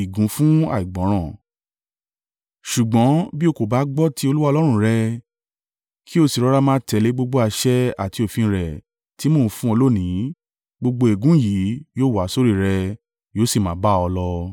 Ṣùgbọ́n bí o kò bá gbọ́ ti Olúwa Ọlọ́run rẹ kí o sì rọra máa tẹ̀lé gbogbo àṣẹ àti òfin rẹ̀ tí mò ń fún ọ lónìí, gbogbo ègún yìí yóò wá sórí rẹ yóò sì máa bá ọ lọ.